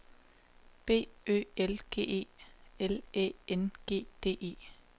B Ø L G E L Æ N G D E